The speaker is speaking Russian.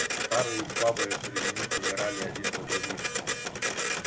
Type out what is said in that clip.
старые и слабые среди них умирали один за другим